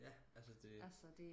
ja altså det